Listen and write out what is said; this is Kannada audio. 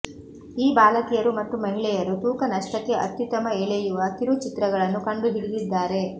ಈ ಬಾಲಕಿಯರು ಮತ್ತು ಮಹಿಳೆಯರು ತೂಕ ನಷ್ಟಕ್ಕೆ ಅತ್ಯುತ್ತಮ ಎಳೆಯುವ ಕಿರುಚಿತ್ರಗಳನ್ನು ಕಂಡುಹಿಡಿದಿದ್ದಾರೆ